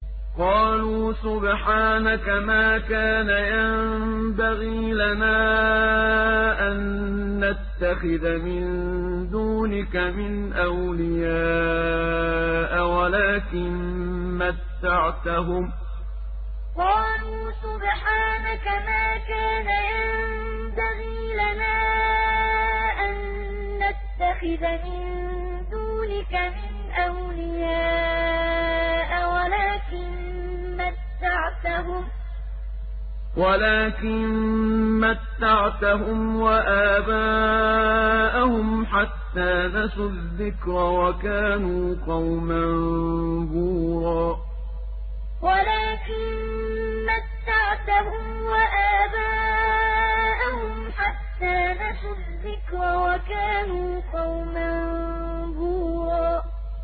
قَالُوا سُبْحَانَكَ مَا كَانَ يَنبَغِي لَنَا أَن نَّتَّخِذَ مِن دُونِكَ مِنْ أَوْلِيَاءَ وَلَٰكِن مَّتَّعْتَهُمْ وَآبَاءَهُمْ حَتَّىٰ نَسُوا الذِّكْرَ وَكَانُوا قَوْمًا بُورًا قَالُوا سُبْحَانَكَ مَا كَانَ يَنبَغِي لَنَا أَن نَّتَّخِذَ مِن دُونِكَ مِنْ أَوْلِيَاءَ وَلَٰكِن مَّتَّعْتَهُمْ وَآبَاءَهُمْ حَتَّىٰ نَسُوا الذِّكْرَ وَكَانُوا قَوْمًا بُورًا